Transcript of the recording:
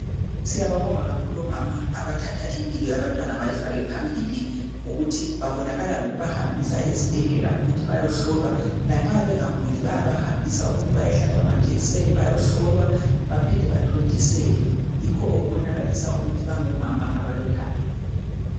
Siyababonga kakhulu omama abathatha impilo yabantwana bayifake phambili, ngokuthi babonakala ngokubahambisa ezibhedlela ukuthi bayohlolwa lanxa bengaguli bayabahambisa ukuthi bayohlatshwa amajekiseni ,bayeholwa baphinde bathontiselwe. Yikho okubonakalisa ukuthi bangabo mama abalothando.